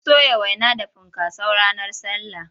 Mun soya waina da funkaso ranar sallah.